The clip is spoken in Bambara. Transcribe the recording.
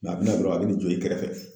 a bɛna dɔrɔn a bɛ n'i jɔ i kɛrɛfɛ.